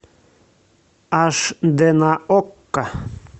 аш дэ на окко